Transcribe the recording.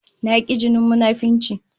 I hate hypocrisy